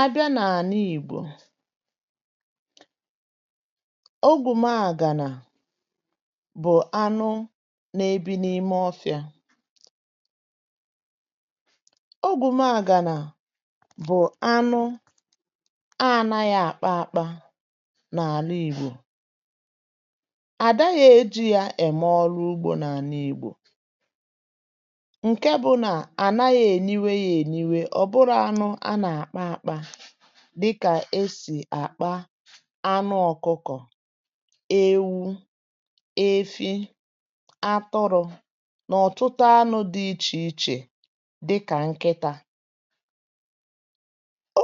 a bịà n’ànà ìgbò ọ̀gwùmàà gà nà bụ̀ anụ̀ na-ebi n’ime ọ́fịa ọ̀gwùmàà gà nà bụ̀ anụ̀ a ànàghị àkpà àkpà n’ànà ìgbò àdàghị ejì ya èmérụ̀ ụ́gbọ̀ n’ànà ìgbò nke bụ̀ na ànàghị eníwe ya eníwe. ọ̀ bụrụ̀ anụ̀ a nà-àkpà àkpà dịkà esì àkpà anụ̀ ọ̀kụkọ̀, ewu, efi, atọrọ̇ n’ọ̀tụtụ̀ anụ̀ dị iche iche dịkà nkịta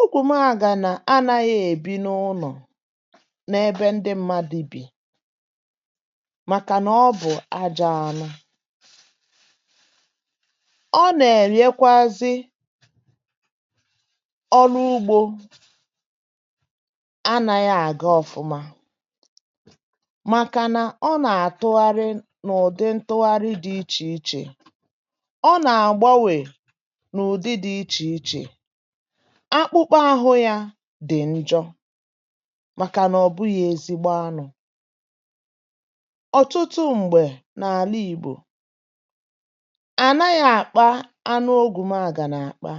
ọ̀gwùmàà gà nà ànàghị̇ èbi n’ụlọ̀ n’ebe ndị mmadụ bì, màkànà ọ bụ̀ ajá anụ̀. ọ nà-èriekwazị um ọrụ̀ ụ́gbọ̀ ànàghị àgà ọ̀fụ̀ma, màkànà ọ nà-àtụ̀gharịa n’ụ̀dị̀ ntụ̀gharị dị iche iche, ọ nà-àgbanwè n’ụ̀dị̀ dị iche iche. akpụ̀kpà ahụ̀ yà dị̀ njọ, màkànà ọ̀ bụghị̇ ezigbo anụ̀. ọ̀tụtụ̀ m̀gbè n’ànà ìgbò ànàghị àkpà anụ̀ ọ̀gwùmàà gà nà àkpà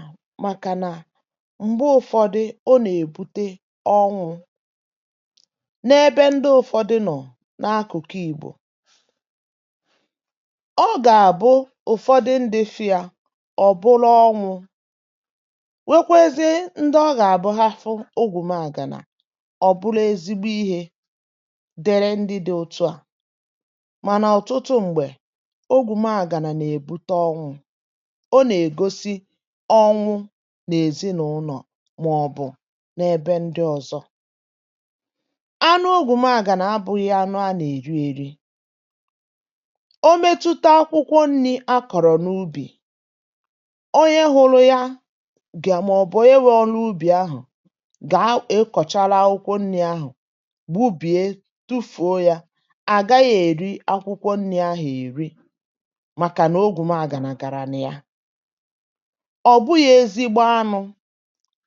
um m̀gbè ụ̀fọ̀dị̀ ọ nà-èbutè ọnwụ̇ n’ebe ndị ụ̀fọ̀dị̀ nọ̀. n’akụ̀kụ ìgbò ọ gà-àbụ́ ụ̀fọ̀dị̀ ndị fìà, ọ̀ bụlụ́ ọnwụ̇, nwekwazie ndị ọ gà-àbụ́ hà hụ̀ ọ̀gwùmàà gà nà. ọ̀ bụlụ́ ezigbo ihe dịrị̀ ndị dị̇ otu à, mànà ọ̀tụtụ̀ m̀gbè ọ̀gwùmàà gà nà-èbutè ọnwụ̇, ọ nà-ègosi ọnwụ̇ màọ̀bụ̀ n’ebe ndị ọzọ̀. anụ̀ ọ̀gwùmàà gà nà abụghị̇ anụ̀ anụ̀-èrí-èrí. ọ̀mètùtà akwụkwọ nri̇ akọ̀rọ̀ n’ùbì onye hụrụ̀ yà gà, màọ̀bụ̀ e wéọ̇ n’ùbì ahụ̀ gà akọ̀chàla akwụkwọ nri̇ ahụ̀, gbùbíe, tufùo. yà à gà-àghị̇ èri akwụkwọ nri̇ ahụ̀, èri, màkà nà ọ̀gwùmàà gà nà gàrà. n’ìhà, ọ̀ bụ̀ghị ezigbo anụ̀,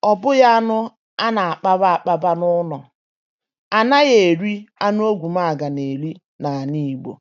ọ̀ bụ̀ghị anụ̀ a nà-àkpà àkpàbà n’ụlọ̀, ànà yà èri anụ̀. ọ̀gwùmàà gà nà-èrí n’ànà ìgbò.